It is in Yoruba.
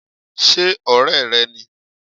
ṣe ọrẹ re ní?